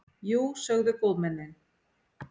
Jú, sögðu góðmennin.